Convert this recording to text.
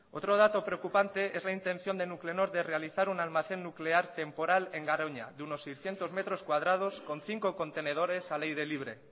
otro dato preocupante es la intención de nuclenor de realizar un almacén nuclear temporal en garoña de unos seiscientos metros cuadrados con cinco contenedores al aire libre